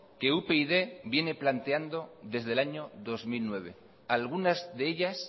que upyd viene planteando desde el año dos mil nueve algunas de ellas